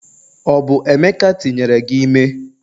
Ọ bụ emeka tinyere gi ime?